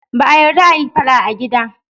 Ba a yarda a yi fada a gida.